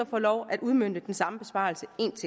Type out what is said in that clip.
få lov at udmønte den samme besparelse en